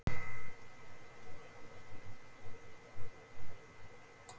Þetta þurfi að skoða betur.